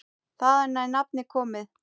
Þaðan er nafnið komið.